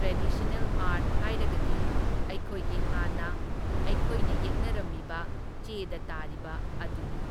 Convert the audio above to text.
Traditional art ꯍꯥꯏꯔꯒꯗꯤ ꯑꯩꯈꯣꯏꯒꯤ ꯍꯥꯟꯅ ꯑꯩꯈꯣꯏꯅ ꯌꯦꯛꯅꯔꯝꯃꯤꯕ ꯆꯦꯗ ꯇꯥꯔꯤꯕ ꯑꯗꯨꯅꯤ꯫